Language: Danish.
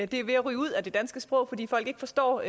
det er ved at ryge ud af det danske sprog fordi folk ikke forstår